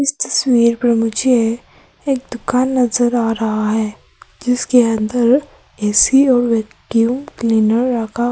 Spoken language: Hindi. इस तस्वीर में मुझे एक दुकान नजर आ रहा है जिसके अंदर ए_सी और वैक्यूम क्लीनर रखा--